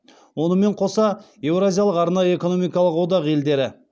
онымен қоса еуразиялық арнайы экономикалық одақ елдері